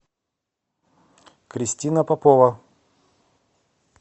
кристина попова